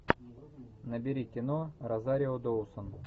набери кино розарио доусон